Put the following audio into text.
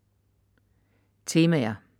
Temaer